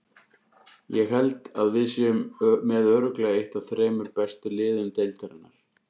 Ég held að við séum með örugglega eitt af þremur bestu liðum deildarinnar.